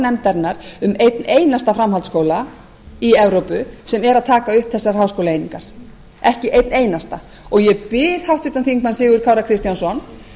nefndarinnar um einn einasta framhaldsskóla í evrópu sem er að taka upp þessar háskólaeiningar ekki einn einasta og ég bið háttvirtan þingmann sigurð kára kristjánsson